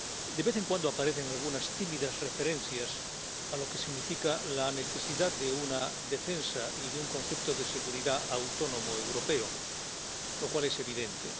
De vez en cuando aparecen algunas tímidas referencias a lo que significa la necesidad de una defensa y de un concepto de seguridad autónomo europeo, lo cual es evidente.